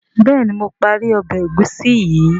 béèni mo parí Ọbẹ̀ egusi yi.